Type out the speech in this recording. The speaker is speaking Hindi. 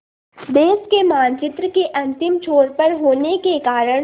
देश के मानचित्र के अंतिम छोर पर होने के कारण